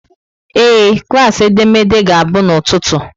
Ee, klaasị edemede ga-abụ n'ụtụtụ.